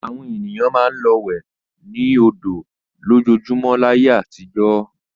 Àwọn ènìyàn máa ń lọ wẹ̀ ní odò lójoojúmọ́ láyé àtijọ́.